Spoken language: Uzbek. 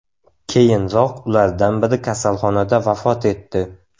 Keyinroq ulardan biri kasalxonada vafot etdi.